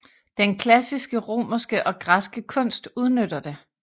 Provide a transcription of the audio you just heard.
Den klassiske romerske og græske kunst udnytter det